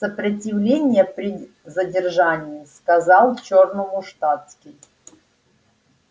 сопротивление при задержании сказал чёрному штатский